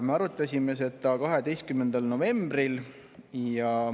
Me arutasime 12. novembril.